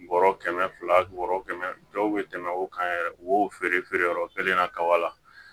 Bɔrɔ kɛmɛ fila bɔrɔ kɛmɛ dɔw be tɛmɛ o kan yɛrɛ u b'o feere feere yɔrɔ kelen na kaba la